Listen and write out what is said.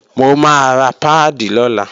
Mò máa ra páàdì lọ́la